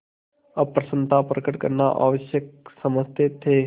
अप्रसन्नता प्रकट करना आवश्यक समझते थे